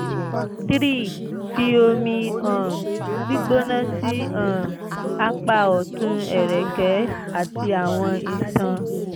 3) fi omi um gbigbona sí um apa ọtun ẹ̀rẹ̀kẹ́ àti àwọn iṣan